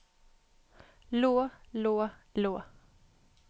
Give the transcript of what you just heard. lå lå lå